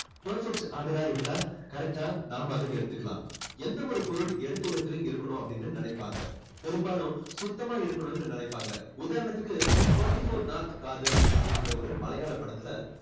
perfect order ஆ இருந்தா correct டா நாம அதை எடுத்துக்கலாம். எந்த ஒரு பொருள் எடுத்த இடத்தில இருக்கணும் அப்படின்னு நினைப்பாங்க. பெரும்பாலும் சுத்தமா இருக்கணும்னு நினைப்பாங்க. உதாரணத்துக்கு twenty four north kaadham அப்படின்ற ஒரு மலையாள படத்துல